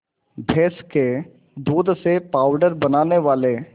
भैंस के दूध से पावडर बनाने वाले